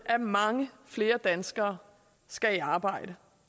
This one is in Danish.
at mange flere danskere skal i arbejde